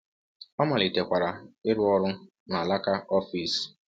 Ọ malitekwara ịrụ ọrụ na alaka ọfịs.